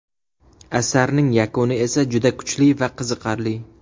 Asarning yakuni esa juda kuchli va qiziqarli.